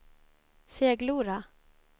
Seglora